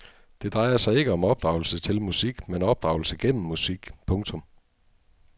Det drejer sig ikke om opdragelse til musik men opdragelse gennem musik. punktum